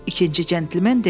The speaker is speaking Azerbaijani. İkinci centlimen dedi: